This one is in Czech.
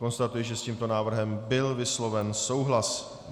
Konstatuji, že s tímto návrhem byl vysloven souhlas.